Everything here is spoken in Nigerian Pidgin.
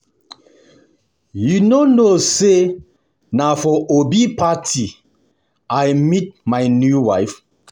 You no know say na for Obi party I meet my new wife